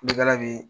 Kulonkɛ bɛ yen